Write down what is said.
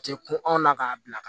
A tɛ kun anw na k'a bila ka na